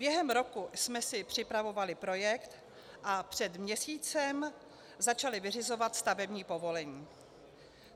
Během roku jsme si připravovali projekt a před měsícem začali vyřizovat stavební povolení.